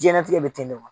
Diɲɛnatigɛ bɛ ten de wa